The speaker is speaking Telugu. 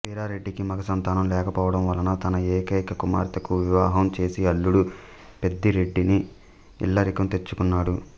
వీరారెడ్డికి మగ సంతానం లేకపోవడం వలన తన ఏకైక కుమార్తెకు వివాహం చేసి అల్లుడు పెద్దారెడ్డిని ఇల్లరికం తెచ్చుకున్నాడు